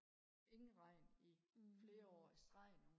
ingen regn i flere år i streg nu